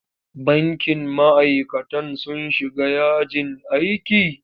Bankin ma'aikatan sun shiga yajin aiki?